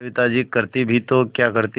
सविता जी करती भी तो क्या करती